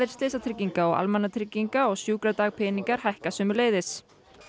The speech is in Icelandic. slysatrygginga og almannatrygginga og sjúkradagpeningar hækka sömuleiðis